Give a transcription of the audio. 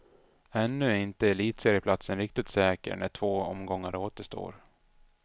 Ännu är inte elitserieplatsen riktigt säker när två omgångar återstår.